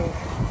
Çox heyf.